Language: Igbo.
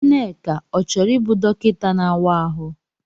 Nneka ọ chọrọ ịbụ dọkịta na-áwá ahụ?